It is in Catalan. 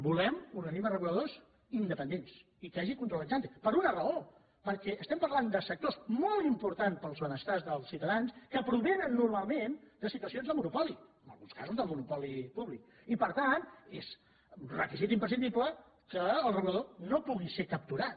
volem organismes reguladors independents i que hi hagi control ex antesectors molt importants per al benestar dels ciutadans que provenen normalment de situacions de monopoli en alguns casos de monopoli públic i per tant és re·quisit imprescindible que el regulador no pugui ser cap·turat